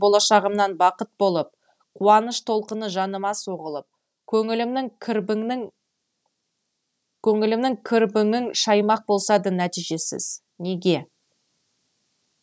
болашағымнан бақыт болып қуаныш толқыны жаныма соғылып көңілімнің кірбіңін шаймақ болса да нәтижесіз неге